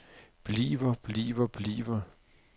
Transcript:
bliver bliver bliver